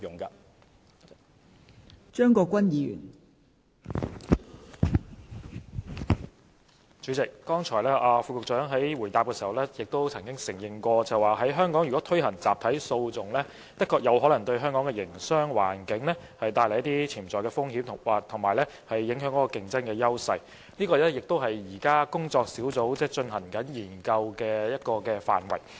代理主席，局長剛才在答覆時承認，如果在香港推行集體訴訟，確實有可能對香港的營商環境帶來一些潛在風險及影響其競爭優勢，而這亦是工作小組現正進行的研究的範圍。